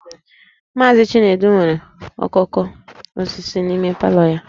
Mazị Chinedu nwere okooko osisi n'ime palọ ya